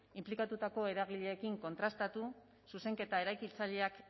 inplikatutako eragileekin kontrastatu zuzenketa eraikitzaileak